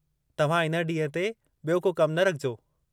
तव्हां इन ॾींहं ते बि॒यो को कम न रखिजो।